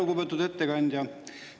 Lugupeetud ettekandja!